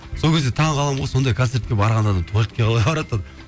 сол кезде таң қаламын ғой сондай концертке барған адам туалетке қалай барады деп